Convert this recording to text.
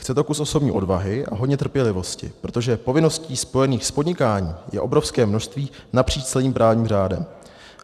Chce to kus osobní odvahy a hodně trpělivosti, protože povinností spojených s podnikáním je obrovské množství napříč celým právním řádem.